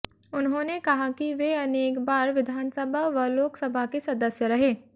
उन्होंने कहा कि वे अनेक बार विधानसभा व लोकसभा के सदस्य रहे